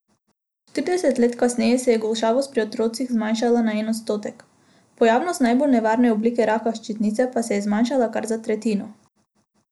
Štirideset let kasneje se je golšavost pri otrocih zmanjšala na en odstotek, pojavnost najbolj nevarne oblike raka ščitnice pa se je zmanjšala kar za tretjino.